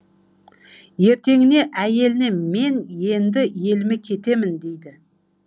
ертеңіне әйеліне мен енді еліме кетемін дейді